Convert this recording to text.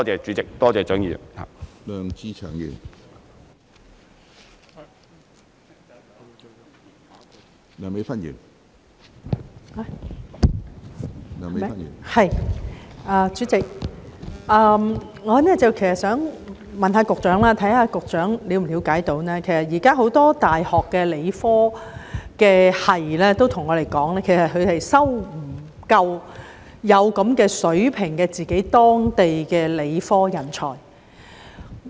主席，我想問局長，他是否了解到一個情況，現時很多大學的理科學系教授都向我們表示，他們未能收錄足夠有一定水平的本地理科人才。